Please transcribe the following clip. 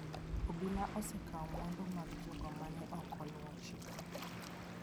Obila osekawo mwandu mag jogo ma ne ok oluwo chikno.